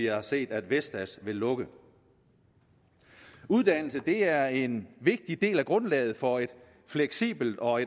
har set at vestas vil lukke uddannelse er en vigtig del af grundlaget for et fleksibelt og